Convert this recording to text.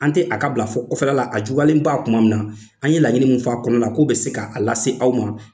An tɛ a ka bila fɔ o kɔfɛla a juguyalen ba kuma min na an ye laɲini minnu fɔ a kɔnɔna na k'o bɛ se k'a lase aw ma.